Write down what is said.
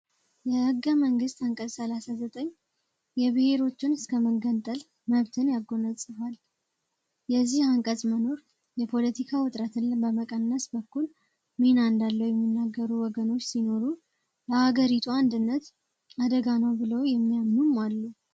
በህገ መንግስት አንቀጽ 39 የብሄሮችን እስከመገንጠል መብትን ያጎናጽፋል። የዚህ አንቀጽ መኖር የፓለቲካ ዉጥረትን በመቀነስ በኩል ሚና እንዳለዉ የሚነገሩ ወገኖቹ ሲኖሩ ለሀገሪቷ አንድነት አደጋ ነዉ ብለዉ የሚያምኑም አሉ።